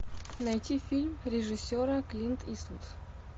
найти фильм режиссера клинт иствуд